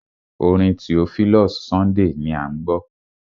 Orin Theophilus Sunday à ń gbọ́.